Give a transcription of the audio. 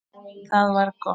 Það var gott